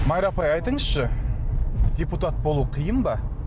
майра апай айтыңызшы депутат болу қиын ба